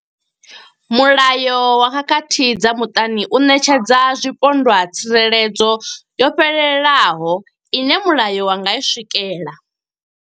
Mulayo wa khakhathi dza muṱani u ṋetshedza zwipondwa tsireledzo yo fhelelaho ine mulayo wa nga i swikela.